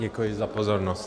Děkuji za pozornost.